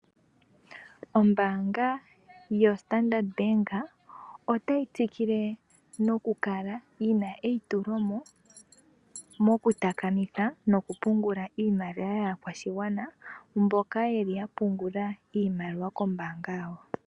Ombaanga yo Standard Bank otayi tsikile nokukala yi na eitulomo mokutakamitha nokupungula iimaliwa yaakwashigwana, mboka ye li ya pungula iimaliwa kombaanga yawo.